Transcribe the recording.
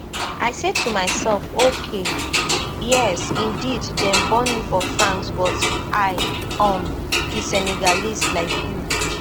i say to myself ok yes indeed dem born me for france but i um be senegalese like you